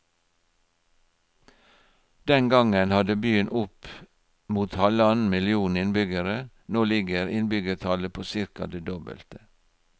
Den gangen hadde byen opp mot halvannen million innbyggere, nå ligger innbyggertallet på cirka det dobbelte.